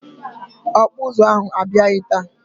Ọkpụụzụ ahụ abịaghị taa.